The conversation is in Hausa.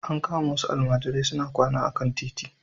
An kama wasu almajirai suna kwana a kan titi.